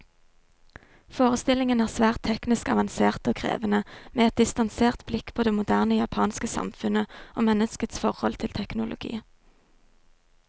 Forestillingene er svært teknisk avanserte og krevende, med et distansert blikk på det moderne japanske samfunnet, og menneskets forhold til teknologi.